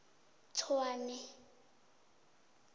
tshwane